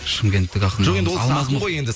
шымкенттық ақын